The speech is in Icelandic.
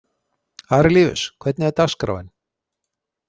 Arilíus, hvernig er dagskráin?